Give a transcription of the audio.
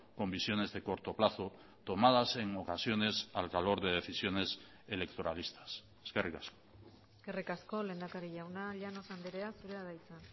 con visiones de corto plazo tomadas en ocasiones al calor de decisiones electoralistas eskerrik asko eskerrik asko lehendakari jauna llanos andrea zurea da hitza